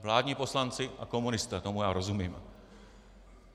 Vládní poslanci a komunisté, tomu já rozumím.